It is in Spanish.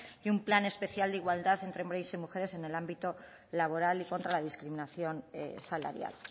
y un plan especial de igualdad entre hombres y mujeres en el ámbito laboral y contra la discriminación salarial